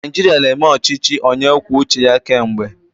Naijiria na-eme ọchịchị onye kwuo uche ya kemgbe.